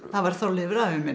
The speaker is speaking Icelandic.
það var Þorleifur afi minn